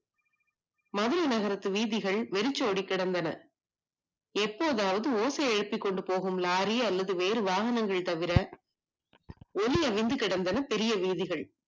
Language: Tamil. மதுரை நகரத்து வீதிகள் விருச்சோடி கடந்தன எப்போதாவது ஓசை எழுப்பு கொண்டு போற லாரி வேறு வாகனங்கள் தவிர ஒலியகின்ற கடந்தன பெரிய வீதிகள்